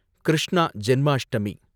Krishna Janmashtami